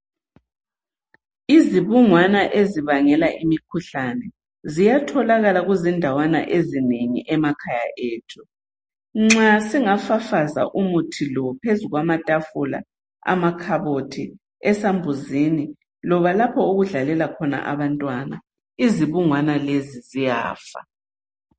Izibungwana ezibangela imikhuhlane ziyatholakala kuzindawana ezinengi emakhaya ethu. Nxa singafafaza umuthi lo phezu kwamatafula, amakhabothi, esambuzini loba lapho okudlalela khona abantwana, izibungwana lezi ziyafa.